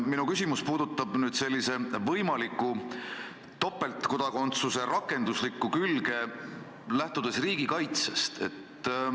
Minu küsimus puudutab nüüd võimaliku topeltkodakondsuse rakenduslikku külge, lähtudes riigikaitsest.